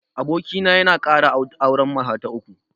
Abokina ya kara auren mata ta uku